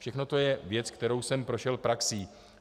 Všechno to je věc, kterou jsem prošel praxí.